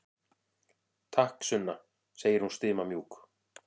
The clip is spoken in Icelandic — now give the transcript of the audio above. Takk, Sunna, segir hún stimamjúk.